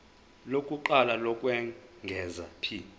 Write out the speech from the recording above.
lokuqala lokwengeza p